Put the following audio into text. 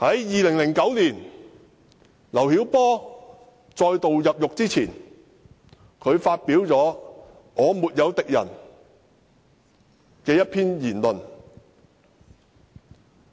2009年，劉曉波再度入獄前發表一篇名為"我沒有敵人"的文章。